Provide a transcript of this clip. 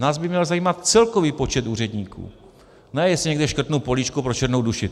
Nás by měl zajímat celkový počet úředníků, ne jestli někde škrtnu políčko pro černou duši.